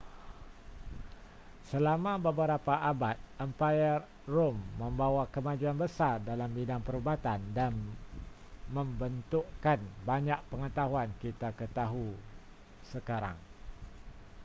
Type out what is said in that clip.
selama beberapa abad empayar rom membawa kemajuan besar dalam bidang perubatan dan membentukkan banyak pengetahuan kita ketahu sekarang